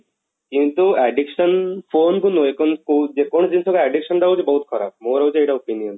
କିନ୍ତୁ addiction phone କୁ ନୁହେଁ ଯେ କୌଣସି ଜିନିଷକୁ addiction ଟା ହଉଛି ବହୁତ ଖରାପ ମୋର ହଉଛି ଏଇଟା opinion